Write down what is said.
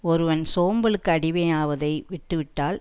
ஒருவன் சோம்பலுக்கு அடிமையாவதை விட்டு விட்டால்